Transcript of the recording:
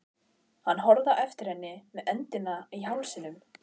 Hann horfði á eftir henni með öndina í hálsinum.